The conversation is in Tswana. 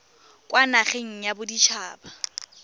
kwa nageng ya bodit haba